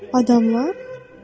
Adamlar?